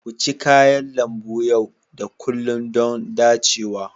Ku ci kayan lambu yau da kullun don dacewa.